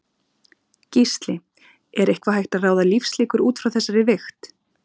Gísli: Er eitthvað hægt að ráða lífslíkur útfrá þessari vigt?